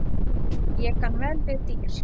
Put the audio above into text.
Ég kann vel við dýr.